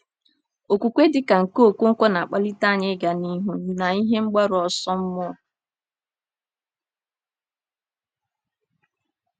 Okwukwe dị ka nke Okonkwo na-akpalite anyị ịga n’ihu na ihe mgbaru ọsọ mmụọ.